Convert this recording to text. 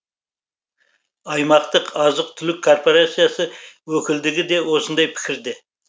аймақтық азық түлік корпорациясы өкілдігі де осындай пікірде